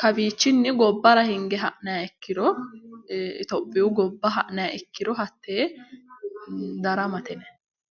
kowiichinni gobbara hinge ha'nayi ikkiro itophiyu gobba ha'nayi ikkiro hattee daramate yinayi.